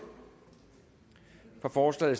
for stemte